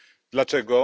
Dlaczego?